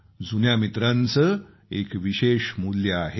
जुन्या मित्रांचं एक विशेष मोल आहे